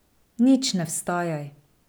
Nič ne vstajaj.